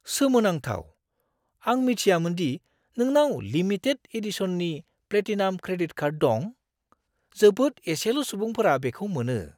सोमोनांथाव! आं मिथियामोन दि नोंनाव लिमिटेड एडिशननि प्लेटिनाम क्रेडिट कार्ड दं। जोबोद एसेल' सुबुंफोरा बेखौ मोनो।